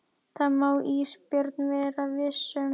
Það má Ísbjörg vera viss um.